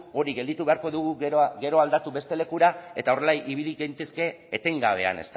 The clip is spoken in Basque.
hori gelditu beharko dugu gero aldatu beste lekura eta horrela ibili gintezke etengabean